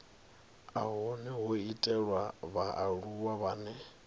hone ho itelwa vhaaluwa vhane